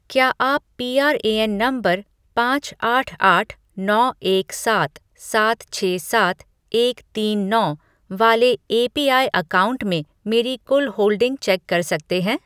क्या आप PRAN number पाँच आठ आठ नौ एक सात सात छः सात एक तीन नौ वाले एपीआई अकाउंट में मेरी कुल होल्डिंग चेक कर सकते हैं